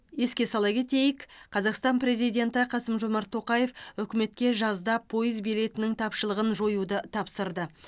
еске сала кетейік қазақстан президенті қасым жомарт тоқаев үкіметке жазда пойыз билетінің тапшылығын жоюды тапсырды